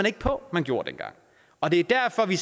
ikke på at man gjorde dengang og det er derfor vi